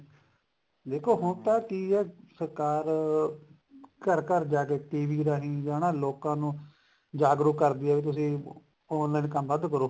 ਦੇਖੋ ਹੁਣ ਤਾਂ ਕਿ ਹੈ ਸਰਕਾਰ ਘਰ ਘਰ ਜਾਕੇ TV ਰਾਹੀਂ ਹਨਾ ਲੋਕਾ ਨੂੰ ਜਾਗਰੂਕ ਕਰਦੀ ਐ ਵੀ ਤੁਸੀਂ online ਕੰਮ ਵੱਧ ਕਰੋ